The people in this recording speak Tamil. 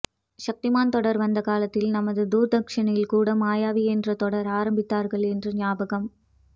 சக்திமான் தொடர் வந்த காலத்தில் நமது தூர்தர்சனில் கூட மாயாவி என்று தொடர் ஆரம்பித்தார்கள் என்று ஞாபகம்